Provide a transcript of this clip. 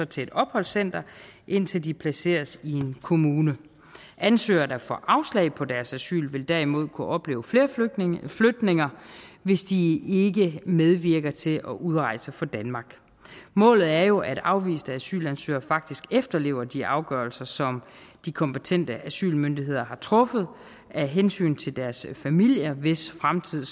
til et opholdscenter indtil de placeres i en kommune ansøgere der får afslag på deres asyl vil derimod kunne opleve flere flytninger flytninger hvis de ikke medvirker til at udrejse fra danmark målet er jo at afviste asylansøgere faktisk efterlever de afgørelser som de kompetente asylmyndigheder har truffet af hensyn til deres familier hvis fremtid